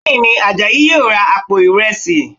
Bẹ́ẹ̀ ni, Àjàyí yóò ra àpò ìrẹsì